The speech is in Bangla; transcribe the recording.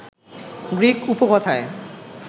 গ্রিক উপকথায়